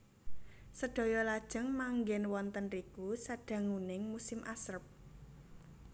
Sedaya lajeng manggèn wonten riku sadanguning musim asrep